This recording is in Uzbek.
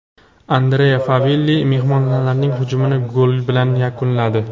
Andrea Favilli mehmonlarning hujumini gol bilan yakunladi.